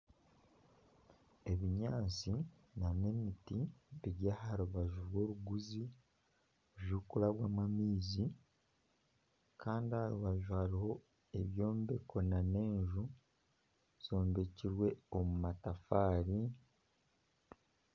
Ebinyaatsi nana emiti biri aha rubaju rw'oruguzi orurikubwamu amaizi kandi aha rubaju hariho ebyombeko nana enju zombekirwe omu matafaari